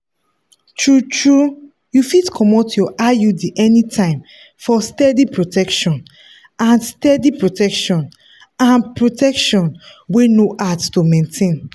true-true you fit comot your iud anytime for steady protection and steady protection and protection wey no hard to maintain.